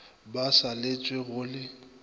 ba sa letlwe go le